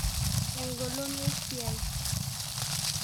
Engolon wesiai.